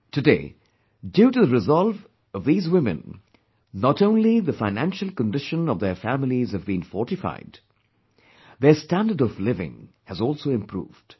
Today, due to the resolve of these women, not only the financial condition of their families have been fortified; their standard of living has also improved